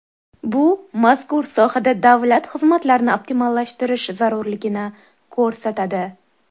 Bu mazkur sohada davlat xizmatlarini optimallashtirish zarurligini ko‘rsatadi.